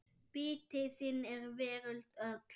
Biti þinn er veröld öll.